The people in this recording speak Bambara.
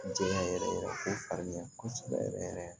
Jɛnya yɛrɛ yɛrɛ fo farinya kosɛbɛ yɛrɛ yɛrɛ